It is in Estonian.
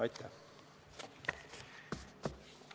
Aitäh!